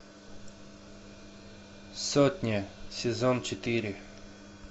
сотня сезон четыре